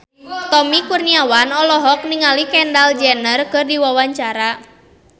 Tommy Kurniawan olohok ningali Kendall Jenner keur diwawancara